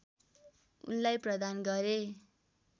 उनलाई प्रदान गरे